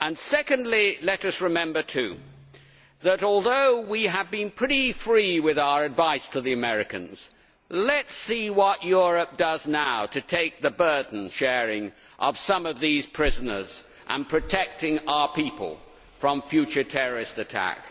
Secondly, let us remember too that, although we have been pretty free with our advice to the Americans, let us see what Europe does now to take the burden sharing of some of these prisoners and protecting our people from future terrorist attack.